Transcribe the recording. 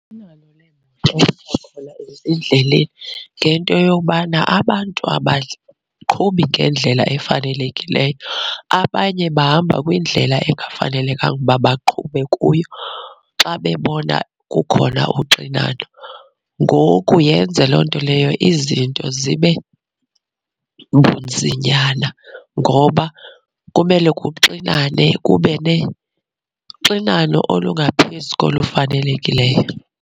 ezindleleni ngento yobana abantu abaqhubi ngendlela efanelekileyo abanye bahamba kwindlela engafanelekanga uba baqhube kuyo xa bebona kukhona uxinano. Ngoku yenze loo nto leyo izinto zibe bunzinyana ngoba kumele kuxinane kube uxinano olungaphezu kolu lufanelekileyo.